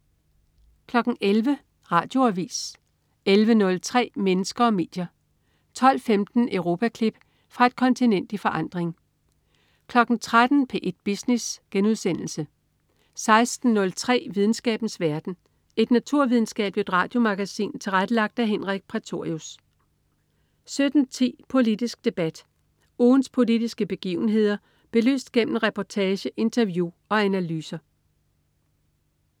11.00 Radioavis 11.03 Mennesker og medier* 12.15 Europaklip. Fra et kontinent i forandring 13.00 P1 Business* 16.03 Videnskabens verden. Et naturvidenskabeligt radiomagasin tilrettelagt af Henrik Prætorius 17.10 Politisk Debat. Ugens politiske begivenheder belyst gennem reportage, interview og analyser